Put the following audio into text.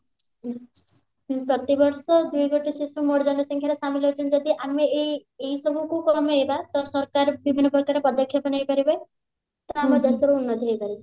ପ୍ରତିବର୍ଷ ଦୁଇକୋଟି ଶିଶୁ ମୋଟ ଜନସଂଖ୍ୟାରେ ସାମିଲ ଅଛନ୍ତି ଯଦି ଆମେ ଏଇ ଏଇ ସବୁକୁ କମେଇବା ତ ସରକାର ବିଭିନ୍ନ ପ୍ରକାର ପଦକ୍ଷେପ ନେଇପାରିବେ ତ ଆମ ଦେଶରେ ଉର୍ନତି ହେଇପାରିବ